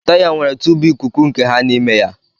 Taya nwere tùbù ikuku nke ha n'ime ya